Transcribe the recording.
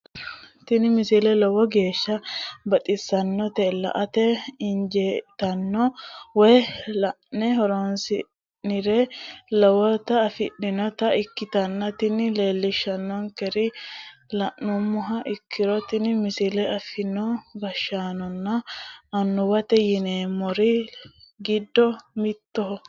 tini misile lowo geeshsha baxissannote la"ate injiitanno woy la'ne ronsannire lowote afidhinota ikkitanna tini leellishshannonkeri la'nummoha ikkiro tini misile afantino gashshaanonna annuwate yineemmori giddo mittoho